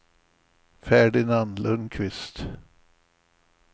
Ferdinand Lundkvist